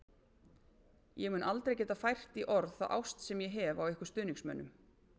Ég mun aldrei geta fært í orð þá ást sem ég hef á ykkur stuðningsmönnum.